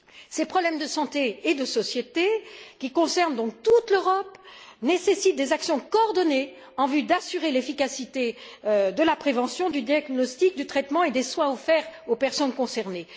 Ces problèmes de santé et de société qui concernent toute l'Europe nécessitent des actions coordonnées en vue d'assurer l'efficacité de la prévention, du diagnostic, du traitement et des soins offerts aux personnes concernées.